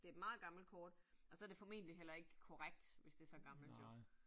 Det et meget gammelt kort, og så det formentlig heller ikke korrekt, hvis det så gammelt jo